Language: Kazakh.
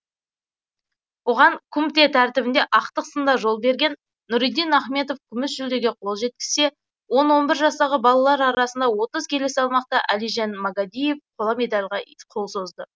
оған кумтэ тәртібінде ақтық сында жол берген нұриддин ахметов күміс жүлдеге қол жеткізсе он он бір жастағы балалар арасында отыз келі салмақта әлижан магадиев қола медальға қол созды